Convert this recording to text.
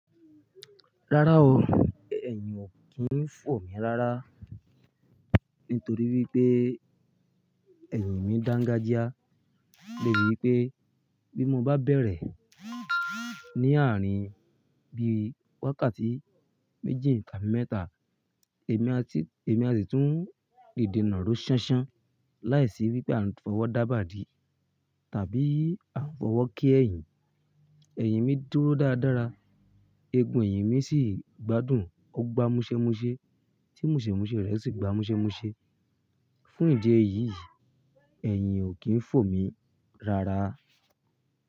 Rárá o, ẹyin ò kí ń fò mí rárá nítorí wípé ẹyin mi dangajia. Dà bí wípé bí mo bá bẹ̀rẹ̀ ní àárín bí i wákàtí méjì tàbí mẹ́ta, èmi àsì tún dide ná ró ṣánṣán láìsí wípé a ń fọwọ́ dábà dì tàbí a ń fọwọ́ ké ẹ̀yìn. Ẹ̀yin mi dúró dáradára, eegun ẹ̀yin mi sì gbádùn, ó gbá múṣẹ́ múṣẹ́, tí múṣẹ́ múṣẹ́ rẹ̀ sì gbá múṣẹ́ múṣẹ́. Fún ìdí èyí, ẹyin ò kí ń fò mí rárá.